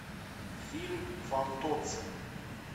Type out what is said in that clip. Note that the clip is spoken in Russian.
фильм фантоцци